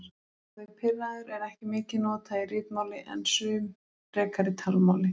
Orðið pirraður er ekki mikið notað í ritmáli en mun frekar í talmáli.